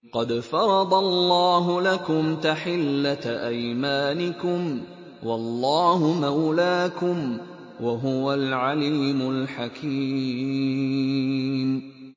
قَدْ فَرَضَ اللَّهُ لَكُمْ تَحِلَّةَ أَيْمَانِكُمْ ۚ وَاللَّهُ مَوْلَاكُمْ ۖ وَهُوَ الْعَلِيمُ الْحَكِيمُ